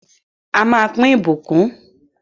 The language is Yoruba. A má pín ìbùkún